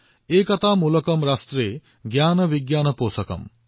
एकता मूलकम् राष्ट्रे ज्ञान विज्ञान पोषकम्